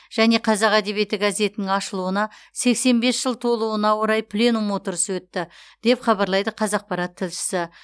және қазақ әдебиеті газетінің ашылуына сексен бес жыл толуына орай пленум отырысы өтті деп хабарлайды қазақпарат тілшісі